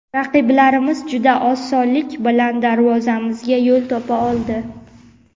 Raqiblarimiz juda osonlik bilan darvozamizga yo‘l topa oldi.